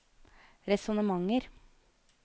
resonnementer